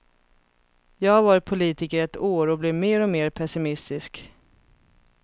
Jag har varit politiker i ett år och blir mer och mer pessimistisk.